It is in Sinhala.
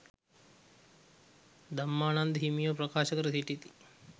ධම්මානන්ද හිමියෝ ප්‍රකාශ කර සිටිති.